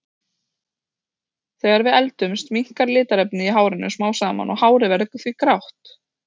Þegar við eldumst minnkar litarefnið í hárinu smám saman og hárið verður því grátt.